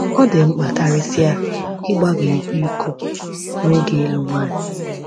Ọ dị mkpa karịsịa ịgbaga ịkwa iko n’oge ịlụ nwanyị.